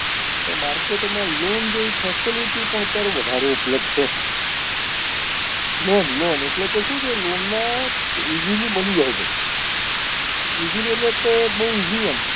તો market માં loan જેવી facility પણ અત્યારે વધારે ઉપલબ્ધ છે loan loan એટલે કે શું છે loan માં easily મળી જાય છે easily એટલે કે બઉ easy આમ